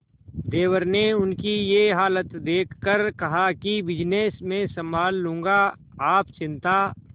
देवर ने उनकी ये हालत देखकर कहा कि बिजनेस मैं संभाल लूंगा आप चिंता